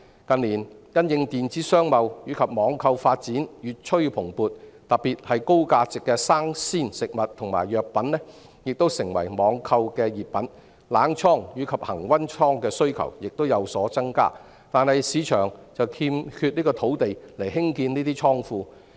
近年因應電子商貿和網購發展越趨蓬勃，特別是高價值的生鮮食物和藥品亦成為網購熱品，冷倉和恆溫倉的需求亦有所增加，但市場卻欠缺土地興建這些倉庫。